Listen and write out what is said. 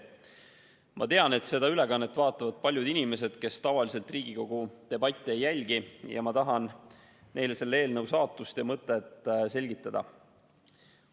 Ma tean, et seda ülekannet vaatavad paljud inimesed, kes tavaliselt Riigikogu debatte ei jälgi, ja ma tahan neile selle eelnõu saatust ja mõtet selgitada.